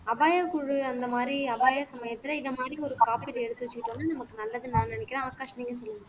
அபாயக்குழு அந்த மாதிரி அபாய சமயத்துல இந்த மாதிரி ஒரு காப்பீடு எடுத்து வச்சுக்கிட்டோம்னா நமக்கு நல்லதுன்னு நான் நினைக்கிறேன் ஆகாஷ் நீங்க சொல்லுங்க